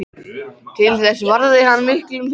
Til þessa varði hann miklum peningum.